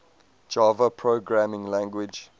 java programming language